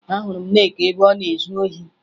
Ahụrụ m Nneka ebe ọ na-ezu ohi